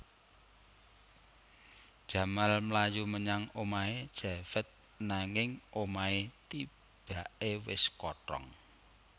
Jamal mlayu menyang omahé Javed nanging omahé tibaké wis kothong